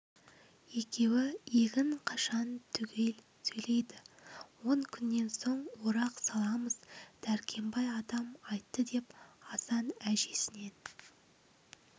екеуі егін қашан түгел сөйлейді он күннен соң орақ саламыз дәркембай атам айтты деп асан әжесінен